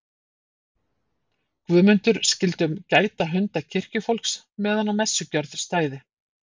Guðmundur skyldu gæta hunda kirkjufólks meðan á messugjörð stæði.